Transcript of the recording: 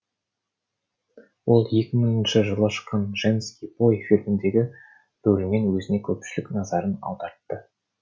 ол екі мыңыншы жылы шыққан женский бой фильміндегі рөлімен өзіне көпшілік назарын аудартады